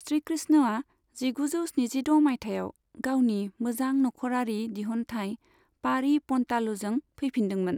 श्री कृष्णआ जिगुजौ स्निजिद' माइथायाव गावनि मोजां नखरारि दिहनथाइ 'पाड़ी पन्तालु'जों फैफिनदोंमोन।